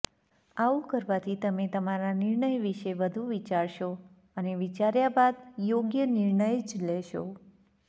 આવું કરવાથી તમે તમારા નિર્ણય વિશે વધુ વિચારશો અને વિચાર્યા બાદ યોગ્ય નિર્ણય જ લેશો